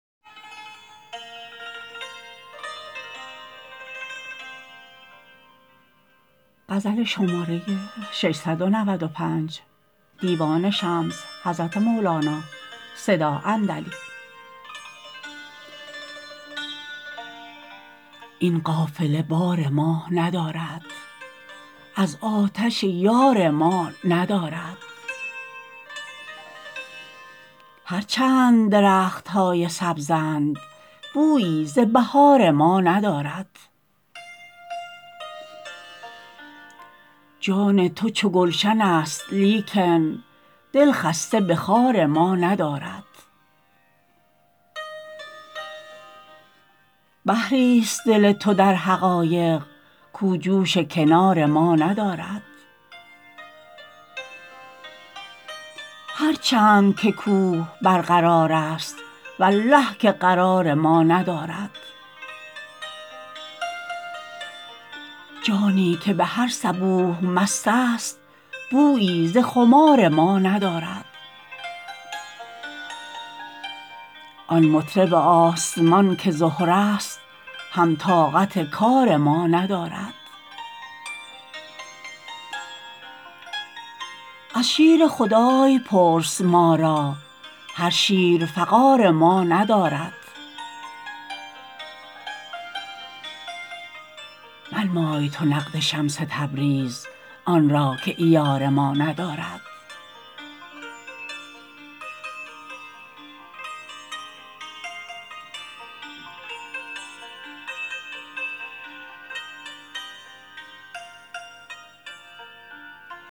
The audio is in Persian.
این قافله بار ما ندارد از آتش یار ما ندارد هر چند درخت های سبز ند بویی ز بهار ما ندارد جان تو چو گلشن است لیکن دلخسته به خار ما ندارد بحر ی ست دل تو در حقایق کاو جوش کنار ما ندارد هر چند که کوه برقرار است والله که قرار ما ندارد جانی که به هر صبوح مست است بویی ز خمار ما ندارد آن مطرب آسمان که زهره است هم طاقت کار ما ندارد از شیر خدای پرس ما را هر شیر قفار ما ندارد منمای تو نقد شمس تبریز آن را که عیار ما ندارد